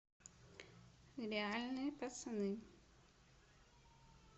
реальные пацаны